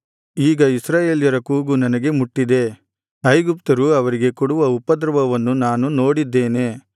ಈಗ ಇಸ್ರಾಯೇಲರ ಕೂಗು ನನಗೆ ಮುಟ್ಟಿದೆ ಐಗುಪ್ತ್ಯರು ಅವರಿಗೆ ಕೊಡುವ ಉಪದ್ರವವನ್ನು ನಾನು ನೋಡಿದ್ದೇನೆ